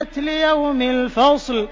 لِيَوْمِ الْفَصْلِ